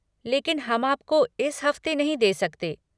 लेकिन हम आपको इस हफ़्ते नहीं दे सकते।